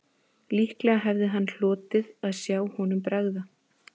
Líklega hefði hann hlotið að sjá honum bregða